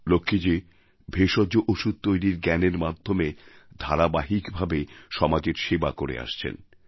লক্ষ্মীজী ভেষজ ওষুধ তৈরির জ্ঞানের মাধ্যমে ধারাবাহিকভাবে সমাজের সেবা করে আসছেন